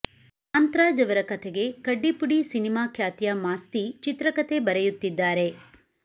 ಕಾಂತ್ ರಾಜ್ ಅವರ ಕಥೆಗೆ ಕಡ್ಡಿಪುಡಿ ಸಿನಿಮಾ ಖ್ಯಾತಿಯ ಮಾಸ್ತಿ ಚಿತ್ರಕತೆ ಬರೆಯುತ್ತಿದ್ದಾರೆ